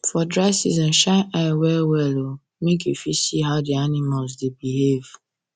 for dry season shine eye well well make you for see how the animals dey behave